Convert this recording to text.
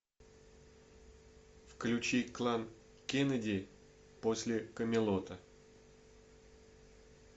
включи клан кеннеди после камелота